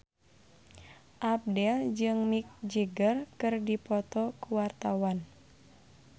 Abdel jeung Mick Jagger keur dipoto ku wartawan